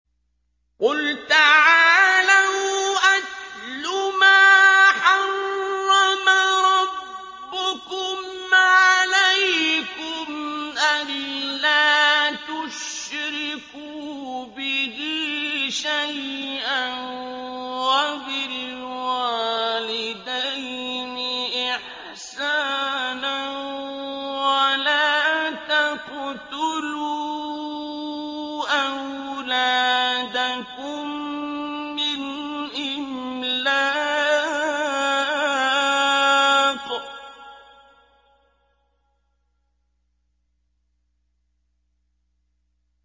۞ قُلْ تَعَالَوْا أَتْلُ مَا حَرَّمَ رَبُّكُمْ عَلَيْكُمْ ۖ أَلَّا تُشْرِكُوا بِهِ شَيْئًا ۖ وَبِالْوَالِدَيْنِ إِحْسَانًا ۖ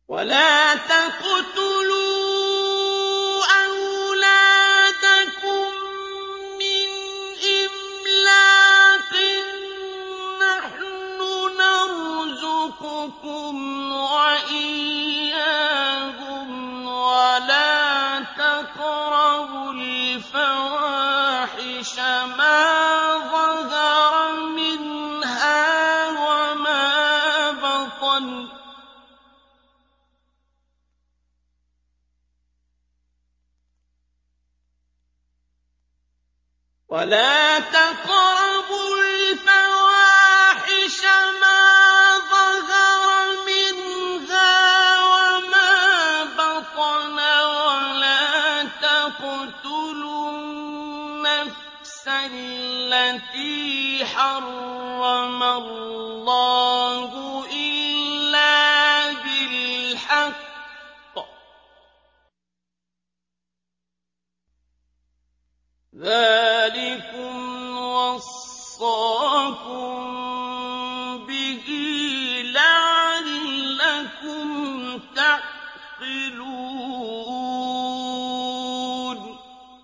وَلَا تَقْتُلُوا أَوْلَادَكُم مِّنْ إِمْلَاقٍ ۖ نَّحْنُ نَرْزُقُكُمْ وَإِيَّاهُمْ ۖ وَلَا تَقْرَبُوا الْفَوَاحِشَ مَا ظَهَرَ مِنْهَا وَمَا بَطَنَ ۖ وَلَا تَقْتُلُوا النَّفْسَ الَّتِي حَرَّمَ اللَّهُ إِلَّا بِالْحَقِّ ۚ ذَٰلِكُمْ وَصَّاكُم بِهِ لَعَلَّكُمْ تَعْقِلُونَ